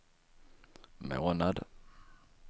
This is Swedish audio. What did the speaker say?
månad